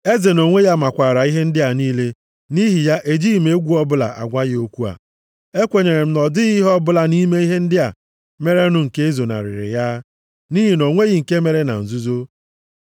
Eze nʼonwe ya makwaara ihe ndị a niile, nʼihi ya ejighị m egwu ọbụla agwa ya okwu a. Ekwenyere m na ọ dịghị ihe ọbụla nʼime ihe ndị a merenụ nke ezonarịrị ya, nʼihi na o nweghị nke mere na nzuzo.